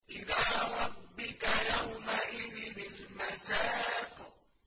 إِلَىٰ رَبِّكَ يَوْمَئِذٍ الْمَسَاقُ